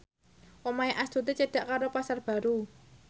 omahe Astuti cedhak karo Pasar Baru